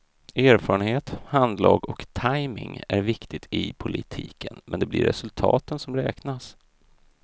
Erfarenhet, handlag och tajmning är viktigt i politiken men det blir resultaten som räknas.